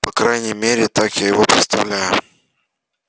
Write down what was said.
по крайней мере так я его представляю